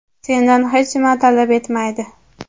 sendan hech nima talab etmaydi.